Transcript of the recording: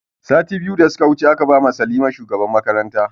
Sati biyu da suka wuce aka ba ma salima shugaban mata